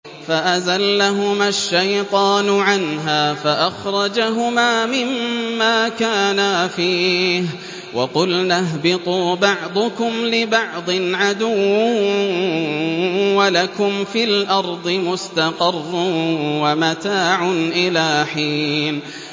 فَأَزَلَّهُمَا الشَّيْطَانُ عَنْهَا فَأَخْرَجَهُمَا مِمَّا كَانَا فِيهِ ۖ وَقُلْنَا اهْبِطُوا بَعْضُكُمْ لِبَعْضٍ عَدُوٌّ ۖ وَلَكُمْ فِي الْأَرْضِ مُسْتَقَرٌّ وَمَتَاعٌ إِلَىٰ حِينٍ